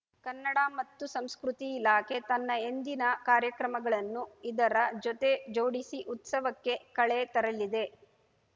ಕನ್ನಡ ಮತ್ತು ಸಂಸ್ಕೃತಿ ಇಲಾಖೆ ತನ್ನ ಎಂದಿನ ಕಾರ್ಯಕ್ರಮಗಳನ್ನು ಇದರ ಜೊತೆ ಜೋಡಿಸಿ ಉತ್ಸವಕ್ಕೆ ಕಳೆ ತರಲಿದೆ